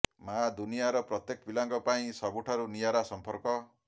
ମା ଦୁନିଆର ପ୍ରତ୍ୟେକ ପିଲାଙ୍କ ପାଇଁ ସବୁଠାରୁ ନିଆରା ସମ୍ପର୍କ